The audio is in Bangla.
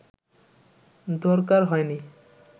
দরকার হয়নি